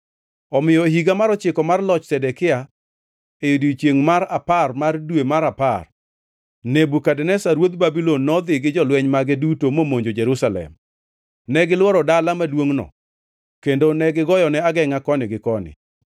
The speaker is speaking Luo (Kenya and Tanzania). Omiyo e higa mar ochiko mar loch Zedekia, e odiechiengʼ mar apar mar dwe mar apar, Nebukadneza ruodh Babulon nodhi gi jolweny mage duto momonjo Jerusalem. Negilworo dala maduongʼno kendo ne gigoyone agengʼa koni gi koni.